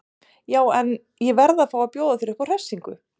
Já en. ég verð að fá að bjóða þér upp á hressingu!